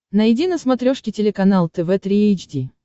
найди на смотрешке телеканал тв три эйч ди